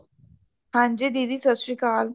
ਹਾਂਜੀ ,ਦੀਦੀ ਸਤਸ਼੍ਰੀਅਕਾਲ